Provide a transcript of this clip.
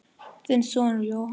Þinn sonur Jóhann.